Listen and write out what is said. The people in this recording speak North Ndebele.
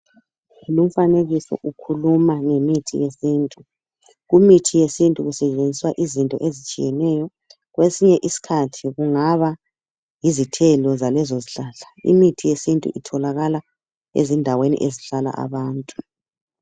Lumfanekiso ukhuluma ngemithi yesintu. Kumithi yesintu kusetshenziswa izinto ezitshiyeneyo. Kwesinye isikhathi kungaba yizithelo zalezo zihlahla. Imithi yesintu itholakala ezindaweni ezihlala abantu.